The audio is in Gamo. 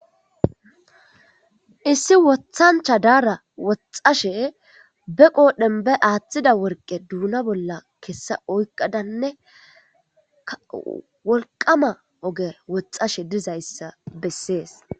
issi wothancha daara woxashe be qoodhen be aaththida worqe duuna bolla kessa oyqadanne ka wolqama oge woxashe dizayssa bessees